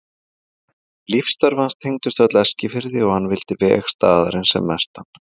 Lífsstörf hans tengdust öll Eskifirði og hann vildi veg staðarins sem mestan.